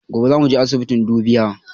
Gobe zamu je asibiti dubiya